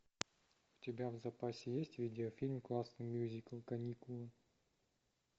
у тебя в запасе есть видеофильм классный мюзикл каникулы